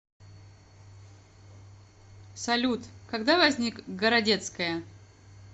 салют когда возник городецкая